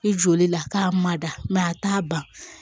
I joli la k'a mada a t'a ban